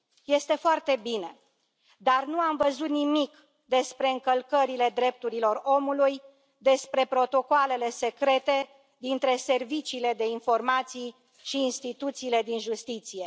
Este foarte bine, dar nu am văzut nimic despre încălcările drepturilor omului, despre protocoalele secrete dintre serviciile de informații și instituțiile din justiție.